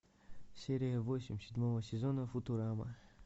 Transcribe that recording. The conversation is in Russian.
серия восемь седьмого сезона футурама